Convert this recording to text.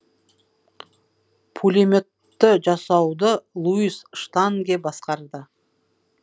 пулеметті жасауды луис штанге басқарды